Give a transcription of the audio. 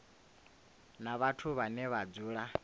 na vhathu vhane vha dzula